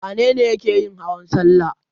Wane ne yake yin hawan salla?